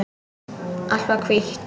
Allt var hvítt.